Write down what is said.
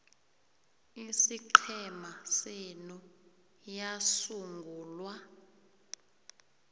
isiqhema senu yasungulwa